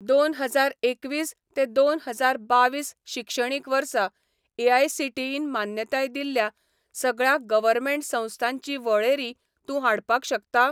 दोन हजार एकवीस ते दोन हजार बावीस शिक्षणीक वर्सा एआयसीटीईन मान्यताय दिल्ल्या सगळ्या गव्हर्मेंट संस्थांची वळेरी तूं हाडपाक शकता?